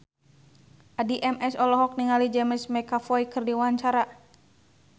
Addie MS olohok ningali James McAvoy keur diwawancara